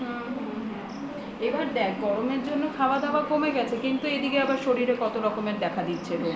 হম হম হম এবার দেখ গরমের জন্য খাওয়া দাওয়া কমে গেছে কিন্তু এদিকে এবার শরীরে কত রকমের দেখা দিচ্ছে রোগ